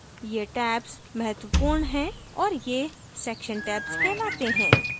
ये tabs महत्वपूर्ण हैं और ये section tabs कहलाते हैं